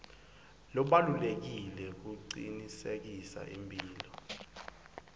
lobalulekile kucinisekisa imphilo